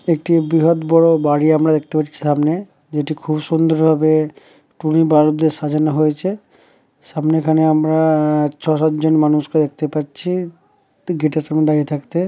একটি বৃহৎ বড়বাড়ি আমরা দেখতে পাচ্ছি সামনে যেটি খুব সুন্দর ভাবে টুনি বালব দিয়ে সাজানো হয়েছে সামনে এখানে আমরা ছয় সাত জন মানুষকে দেখতে পাচ্ছিতু গেট এর সামনে দাঁড়িয়ে থাকতে।